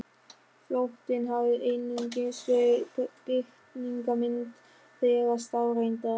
Flóttinn hafði einungis verið birtingarmynd þeirrar staðreyndar.